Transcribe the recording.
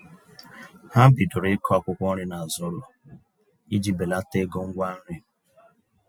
Ha bidoro ịkụ akwụkwọ nri n'azụ ụlọ iji belata ego ngwa nri.